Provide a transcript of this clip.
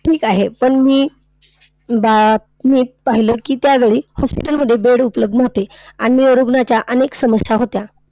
ठीक आहे. पण मी बा मी पाहिले की, त्यावेळी hospital मध्ये bed उपलब्ध नव्हते. आणि रुग्णाच्या अनेक समस्या होत्या.